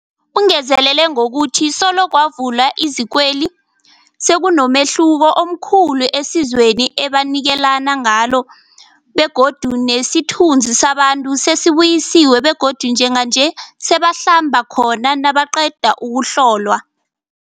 Ungezelele ngokuthi solo kwavulwa izikweli, sekunomehluko omkhulu esizweni ebanikelana ngalo begodu nesithunzi sabantu sesibuyisiwe begodu njenganje sebangahlamba khona nabaqeda ukuhlolwa.